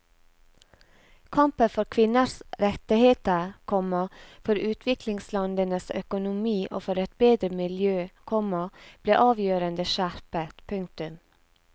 Kampen for kvinners rettigheter, komma for utviklingslandenes økonomi og for et bedre miljø, komma ble avgjørende skjerpet. punktum